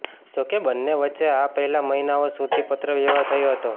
જોકે બંને વચ્ચે આ પહેલાં મહિનાઓ સુધી પત્ર વ્યવહાર થયો હતો